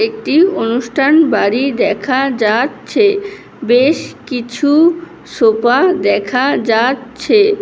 একটি অনুষ্ঠান বাড়ি দেখা যা--চ্ছে। বেশ কিছু সোফা দেখা যা--চ্ছে ।